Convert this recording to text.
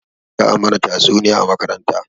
Za a mana tatsuniya a makaranta